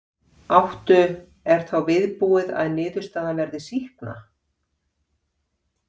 Áttu, er þá viðbúið að niðurstaðan verði sýkna?